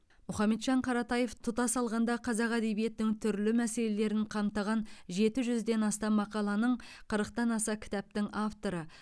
мұхамеджан қаратаев тұтас алғанда қазақ әдебиетінің түрлі мәселелерін қамтыған жеті жүзден астам мақаланың қырықтан аса кітаптың авторы